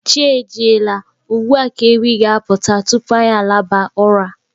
Chi ejiela, ugbua ka ewi ga-aputa tupu anyi alaba ụra.